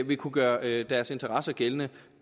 vil kunne gøre deres interesser gældende